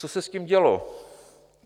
Co se s tím dělo?